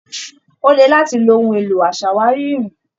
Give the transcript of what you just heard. Ó le láti lo ohun èlò aṣàwárí irin.